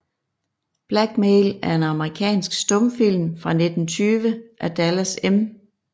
Blackmail er en amerikansk stumfilm fra 1920 af Dallas M